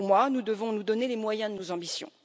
Nous devons nous donner les moyens de nos ambitions.